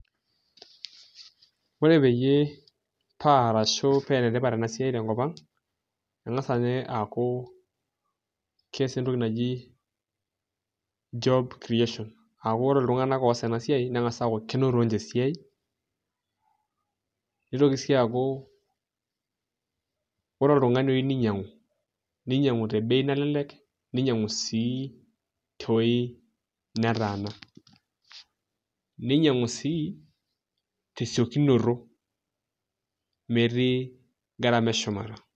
Ore peyie paa enetipat ena siai tenkop ang' eng'asa inye aaku kees entoki naji job creation keng'as aaku ore iltung'anak oos ena siai neng'as aaku kenoto ninche esiai nitoki sii aaku ore oltung'ani oyieu ninyiang'u, ninyiang'u te bei nalelek ninyiang'u sii tewueji netaana ninyiang'u sii tesiokinoto metii gharama eshumata.